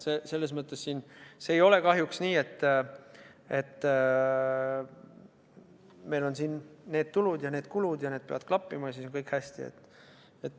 Ei ole kahjuks nii, et meil on siin tulud ja kulud ning need peavad klappima ja siis on kõik hästi.